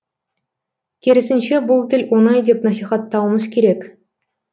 керісінше бұл тіл оңай деп насихаттауымыз керек